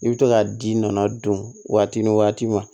I bɛ to ka ji nɔnɔ don waati ni waati ma